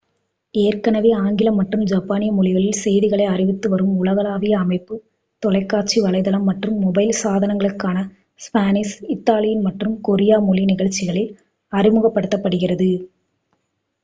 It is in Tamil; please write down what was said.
ஏற்கனவே ஆங்கிலம் மற்றும் ஜப்பானிய மொழிகளில் செய்திகளை அறிவித்துவரும் உலகளாவிய அமைப்பு தொலைக்காட்சி வலைத்தளம் மற்றும் மொபைல் சாதனங்களுக்கான ஸ்பானிஷ் இத்தாலியன் மற்றும் கொரிய மொழி நிகழ்ச்சிகளை அறிமுகப்படுத்துகிறது